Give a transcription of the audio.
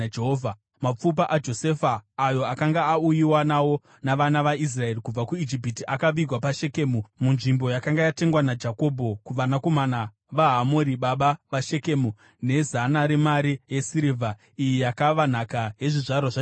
Mapfupa aJosefa, ayo akanga auyiwa nawo navana vaIsraeri kubva kuIjipiti, akavigwa paShekemu, munzvimbo yakanga yatengwa naJakobho kuvanakomana vaHamori, baba vaShekemu, nezana remari yesirivha. Iyi yakava nhaka yezvizvarwa zvaJosefa.